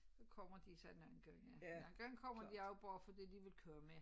Så kommer de så nogen gange nogen gange kommer de også bare fordi de vil køre med